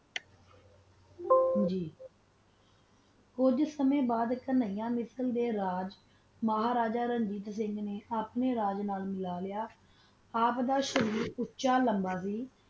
ੱਗ ਥੋਰਾ ਸਮਾਂ ਬਾਦ ਕਾਨਿਆ ਮਿਸ਼ਰ ਦਾ ਰਾਜ ਮਹਾ ਰਾਜਾ ਰਣਜੀਤ ਸਿੰਘ ਨਾ ਆਪਣਾ ਰਾਜ ਨਾਲ ਮਾਲਾ ਲ੍ਯ ਆਪ ਦਾ ਸ਼ਰੀਰ ਬੋਹਤ ਓਛਾ ਲਾਮਾ ਕੀ